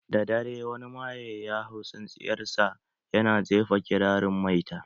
Daddare, wani maye ya hau tsintsiyar sa ya na jefa kirarin maita